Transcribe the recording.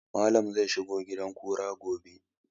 Malam zai shiga gidan kura gobe